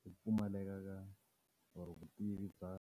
ku pfumaleka ka or vutivi bya.